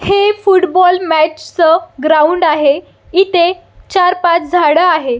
हे football match च ground आहे इथे चार पाच झाड आहे.